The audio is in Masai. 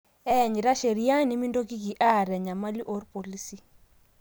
Iyanyita sheria, nimintoki aata enyamali orpolisi.